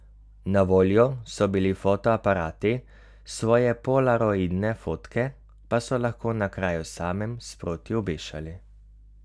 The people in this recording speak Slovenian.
Na voljo so bili fotoaparati, svoje polaroidne fotke pa so lahko na kraju samem sproti obešali.